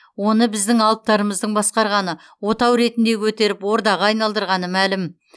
оны біздің алыптарымыздың басқарғаны отау ретінде көтеріп ордаға айналдырғаны мәлім